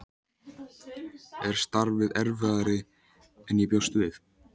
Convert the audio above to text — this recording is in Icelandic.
Er starfið erfiðara en ég bjóst við?